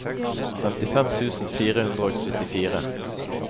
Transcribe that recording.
femtifem tusen fire hundre og syttifire